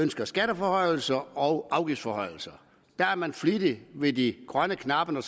ønsker skatteforhøjelser og afgiftsforhøjelser der er man flittig ved de grønne knapper når